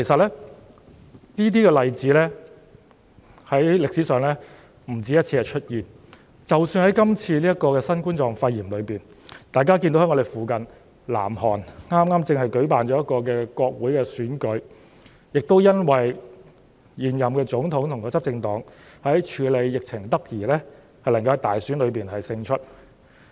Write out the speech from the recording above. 主席，這些例子在歷史上出現不止1次，即使在今次新冠狀病毒的疫情當中，大家看到我們鄰近的南韓剛舉行國會選舉，而現任總統和執政黨也是因為處理疫情得宜而能夠在大選中勝出。